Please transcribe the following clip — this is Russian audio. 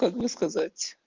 как бы сказать